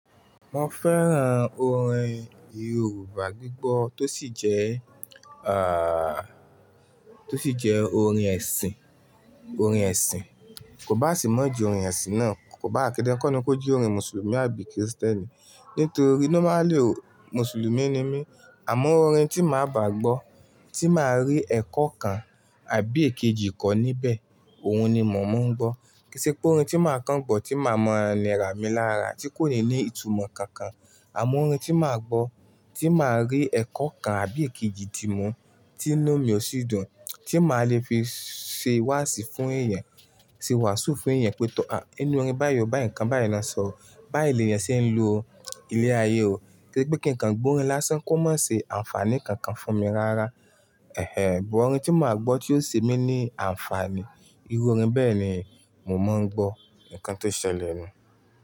Mo fẹ́ran orin Yorùbá gbígbọ́ tó sì jẹ́, à, tó sì jẹ́ orin ẹ̀sìn, orin ẹ̀sìn. Kò bá sì mọ̀ jí orin ẹ̀sìn náà, kò bá à kí ń kọ́ni kójú orin Mùsùlùmí àbí Kírísítẹ́nì. Nítorí normally ò, Mùsùlùmí ni mí. Àmọ́ orin tí màá bà gbọ́, tí màá rí ẹ̀kọ́ kan àbí èkejì ko níbẹ̀, òun ni mò mọ̀ ń gbọ́. Kí sì pé orin tí màá kán bọ̀, tí màá mọ àìlera mi lára, tí kò ní ní ìtumọ̀ kankan. Àmọ́ orin tí màá gbọ́, tí màá rí ẹ̀kọ́ kan àbí èkejì tí mú, tí inú mi ò sí dùn, tí màá le fi ṣe wàásù fún ẹ̀yẹn, ṣe wàásù fún ẹ̀yẹn pé, tọ́ a, inú orin báyìí o, báyìí nǹkan, báyìí lọ́ sọ o. Báyìí ni èèyàn ṣe ń lo o. Ilé ayé o. Kí sì pé kí nǹkan gbọ́ orin lásán kó má ṣe àǹfààní kankan fún mi rárá. Ẹ̀hẹ̀ ẹ, àmọ́ orin tí màá gbọ́ tí yóò ṣe mí ní àǹfààní, irú orin bẹ́ẹ̀ ni mò mọ̀ ń gbọ́. Nǹkan tó ṣẹlẹ̀ ni.